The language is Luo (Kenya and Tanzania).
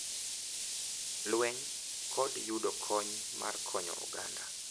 Lweny, kod yudo kony mar konyo oganda.